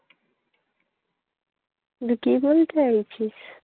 তুই কি বলতে চাইছিস?